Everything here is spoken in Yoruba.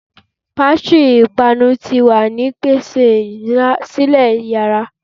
Pastary ipanu ti wa ni pese sile yiyara